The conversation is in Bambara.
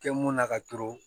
Kɛ mun na ka to